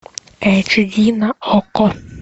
эйч ди на окко